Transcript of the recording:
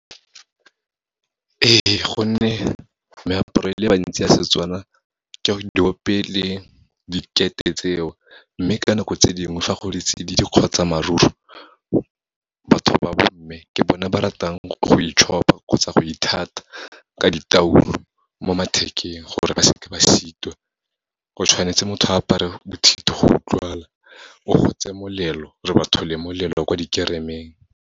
Ee, gonne meaparo e le bantsi ya Setswana ke diope le dikete tseo, mme ka nako tse dingwe fa go di tsididi kgotsa maruru, batho ba bomme, ke bone ba ratang go itšhopa kgotsa go ithata ka ditoulo, mo mathekeng, gore ba seke ba sitwa. Go tshwanetse motho a apare bothito go utlwala, o gotse molelo, re batho le molelo wa kwa dikeremeng.